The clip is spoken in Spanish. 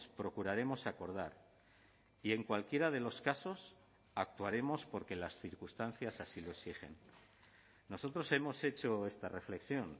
procuraremos acordar y en cualquiera de los casos actuaremos porque las circunstancias así lo exigen nosotros hemos hecho esta reflexión